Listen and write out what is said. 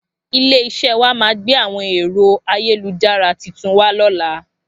Ilé iṣé wá máà gbé àwọn èro ayélujára titun wà lóla